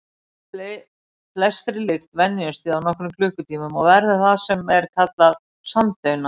Flestri lykt venjumst við á nokkrum klukkutímum og verðum það sem er kallað samdauna.